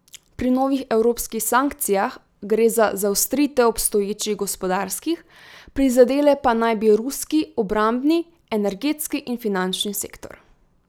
Pri novih evropskih sankcijah gre za zaostritev obstoječih gospodarskih, prizadele pa naj bi ruski obrambni, energetski in finančni sektor.